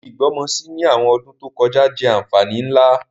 Ibi ìgbọ́mọsí ni àwọn ọdún to kojá jẹ́ ànfàní nlá.